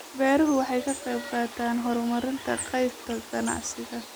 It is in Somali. Beeruhu waxay ka qaybqaataan horumarinta qaybta ganacsiga.